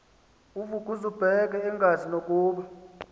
uvukuzumbethe engazi nokuba